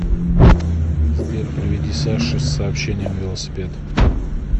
сбер приведи саше с сообщением велосипед